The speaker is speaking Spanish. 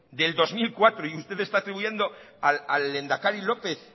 de dos mil cuatro y usted está atribuyendo al lehendakari lópez